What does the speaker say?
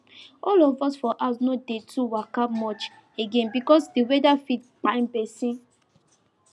all of us for house no dey too waka much again because the weather fit kpai person